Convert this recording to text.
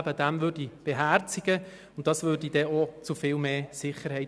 Dies führte dann auch zu viel mehr Sicherheit.